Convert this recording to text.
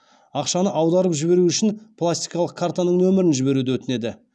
ақшаны аударып жіберу үшін пластикалық картаның нөмірін жіберуді өтінеді